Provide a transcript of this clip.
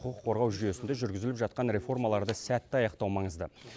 құқық қорғау жүйесінде жүргізіліп жатқан реформаларды сәтті аяқтау маңызды